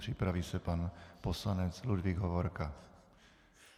Připraví se pan poslanec Ludvík Hovorka.